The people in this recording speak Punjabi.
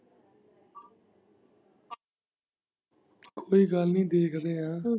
ਕੋਈ ਗੱਲ ਨੀ ਦੇਖਦੇ ਐ।